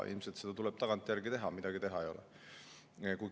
Ilmselt tuleb seda tagantjärele teha, midagi teha ei ole.